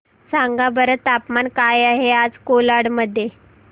सांगा बरं तापमान काय आहे आज कोलाड मध्ये